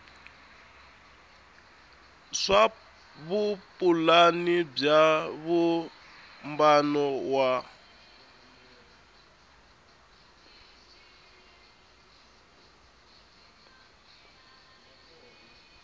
swa vupulani bya vumbano wa